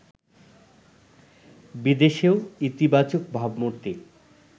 বিদেশেও ইতিবাচক ভাবমূর্তি